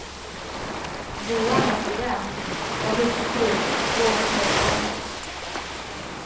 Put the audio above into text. Johan är student, har hustru och två småbarn.